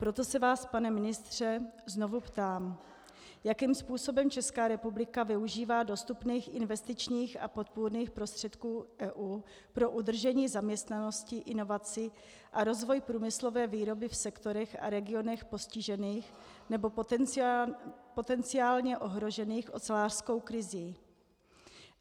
Proto se vás, pane ministře, znovu ptám: Jakým způsobem Česká republika využívá dostupných investičních a podpůrných prostředků EU pro udržení zaměstnanosti, inovací a rozvoj průmyslové výroby v sektorech a regionech postižených nebo potenciálně ohrožených ocelářskou krizí?